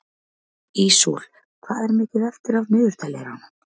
Ísól, hvað er mikið eftir af niðurteljaranum?